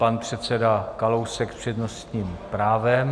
Pan předseda Kalousek s přednostním právem.